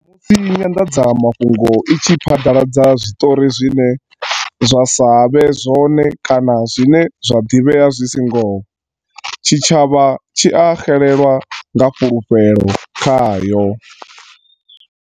Musi nyanḓadzamafhungo i tshi phaḓaladza zwiṱori zwine zwa sa vhe zwone kana zwine zwa ḓivhea zwi si ngoho, tshi tshavha tshi a xelelwa nga fulufhelo khayo.